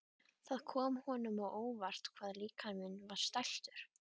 Það kom honum á óvart hvað líkaminn var stæltur.